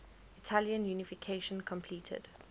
italian unification completed